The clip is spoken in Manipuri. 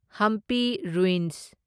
ꯍꯝꯄꯤ ꯔꯨꯢꯟꯁ